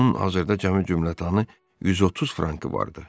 Onun hazırda cəmi cümlətanı 130 frankı vardı.